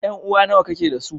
Ƴan'uwa nawa kake dasu?